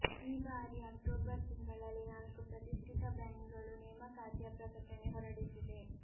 ಈ ಬಾರಿ ಅಕ್ಟೋಬರ್ ತಿಂಗಳಲ್ಲಿ ನಾಲ್ಕು ಪ್ರತಿಷ್ಟಿತ ಬ್ಯಾಂಕ್ಗಳು ನೇಮಕಾತಿಯ ಪ್ರಕಟಣೆ ಹೊರಡಿಸಿದೆ